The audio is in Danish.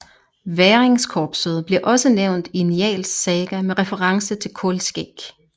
Væringkorpset bliver også nævnt i Njáls saga med reference til Kolskegg